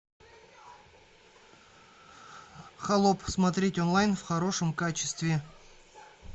холоп смотреть онлайн в хорошем качестве